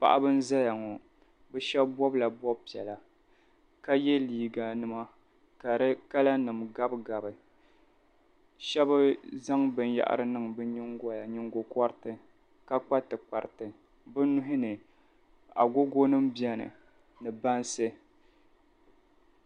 paɣiba n-zaya ŋɔ bɛ shɛba bɔbila bɔb' piɛla ka ye liiganima ka di kalanima gabigabi shɛba zaŋ nyingokɔriti niŋ bɛ nyingoya ni ka kpa tikpariti bɛ nuhi ni agogonima beni ni bansi